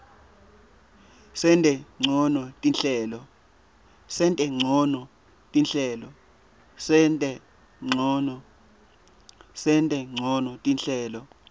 sente ncono tinhlelo